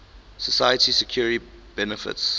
social security benefits